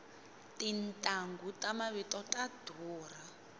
tintanghu ta mavito ta durha